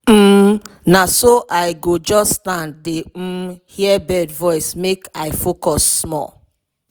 um na so i go just stand dey um hear bird voice make i make i focus small.